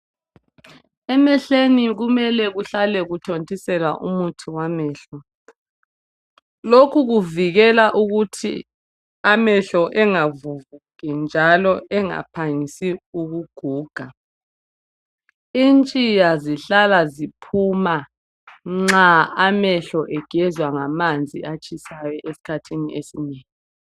Emehlweni kumele kuhlale kuthontiselwa umuthi wamehlo. Lokhu kuvikela ukuthi amehlo engavuvuki njalo engaphangisi ukuguga. Intshiya zihlala ziphuma nxa amehlo egezwa ngamanzi atshisayo esikhathini esinengi.